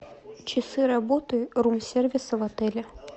часы работы рум сервиса в отеле